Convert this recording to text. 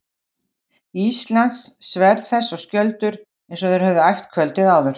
Íslands, sverð þess og skjöldur, eins og þeir höfðu æft kvöldið áður.